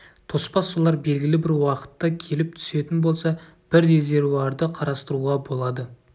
тоспа сулар белгілі бір уақытта келіп түсетін болса бір резервуарды қарастыруға болады